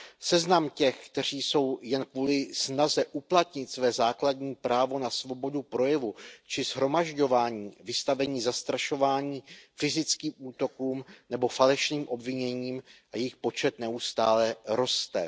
Seznam těch, kteří jsou jen kvůli snaze uplatnit své základní právo na svobodu projevu či shromažďování vystaveni zastrašování, fyzickým útokům nebo falešným obviněním, je dlouhý a jejich počet neustále roste.